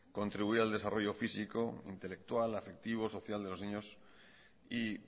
contribuir al desarrollo físico intelectual afectivo social de los niños y